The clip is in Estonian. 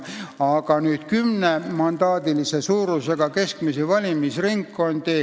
Aga need keskmiselt kümnemandaadilised valimisringkonnad ...